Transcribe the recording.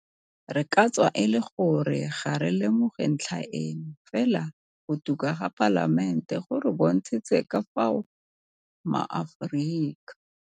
Re ka tswa e le gore ga re lemoge ntlha eno, fela go tuka ga Palamente go re bontshitse ka fao maAforika.